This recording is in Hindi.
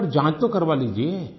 आप एक बार जाँच तो करा लीजिए